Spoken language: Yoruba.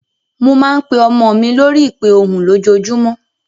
Mo máa ń pe ọmọ mi lórí ìpè ohùn lójoojúmọ́.